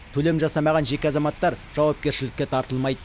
төлем жасамаған жеке азаматтар жауапкершілікке тартылмайды